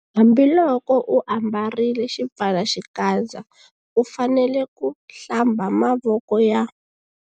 Hambiloko u ambarile xipfalaxikandza u fanele ku- Hlamba mavoko ya.